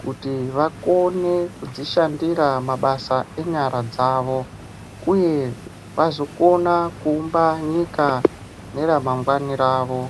kuti vakone kudzishandira mabasa enyara dzavo uye vazokona kuumba nyika neramangwani ravo.